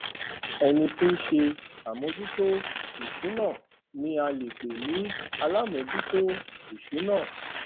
ẹni tí ń ṣe àmójútó ìsúná ni a lè pè ní alámòójútó ìsúná